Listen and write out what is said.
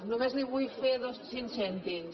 només en vull fer cinc cèntims